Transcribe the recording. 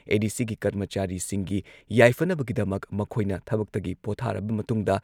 ꯑꯦ.ꯗꯤ.ꯁꯤꯒꯤ ꯀꯔꯃꯆꯥꯔꯤꯁꯤꯡꯒꯤ ꯌꯥꯏꯐꯅꯕꯒꯤꯗꯃꯛ ꯃꯈꯣꯏꯅ ꯊꯕꯛꯇꯒꯤ ꯄꯣꯊꯥꯔꯕ ꯃꯇꯨꯡꯗ